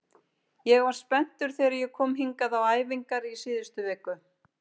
Ég var spenntur þegar ég kom hingað á æfingar í síðustu viku.